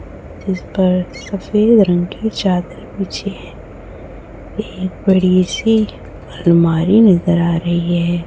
जिस पर सफेद रंग के चादर बिछें है एक बड़ी सी अलमारी नज़र आ रही है।